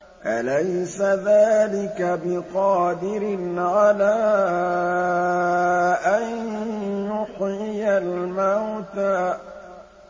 أَلَيْسَ ذَٰلِكَ بِقَادِرٍ عَلَىٰ أَن يُحْيِيَ الْمَوْتَىٰ